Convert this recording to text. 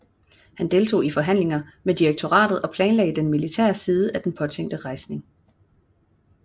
Han deltog i forhandlinger med direktoriet og planlagde den militære side af den påtænkte rejsning